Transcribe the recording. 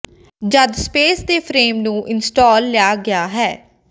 ਜਦ ਸਪੇਸ ਦੇ ਫਰੇਮ ਨੂੰ ਇੰਸਟਾਲ ਲਿਆ ਗਿਆ ਹੈ